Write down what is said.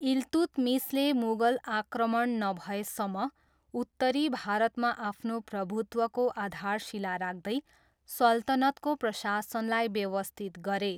इल्तुतमिसले मुगल आक्रमण नभएसम्म उत्तरी भारतमा आफ्नो प्रभुत्वको आधारशिला राख्दै सल्तनतको प्रशासनलाई व्यवस्थित गरे।